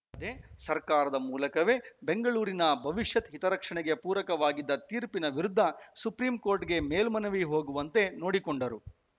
ದೆ ಸರ್ಕಾರದ ಮೂಲಕವೇ ಬೆಂಗಳೂರಿನ ಭವಿಷ್ಯದ ಹಿತರಕ್ಷಣೆಗೆ ಪೂರಕವಾಗಿದ್ದ ತೀರ್ಪಿನ ವಿರುದ್ಧ ಸುಪ್ರೀಂ ಕೋರ್ಟ್‌ಗೆ ಮೇಲ್ಮನವಿ ಹೋಗುವಂತೆ ನೋಡಿಕೊಂಡರು